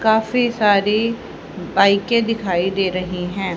काफी सारी बाइके दिखाई दे रही है।